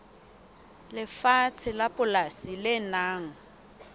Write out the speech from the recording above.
lefatshe la polasi le nang